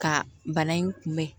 Ka bana in kunbɛn